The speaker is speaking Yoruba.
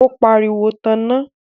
ó pariwo, 'Tan iná'